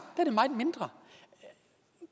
er mindre